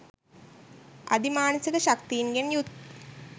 අධි මානසික ශක්තීන්ගෙන් යුත්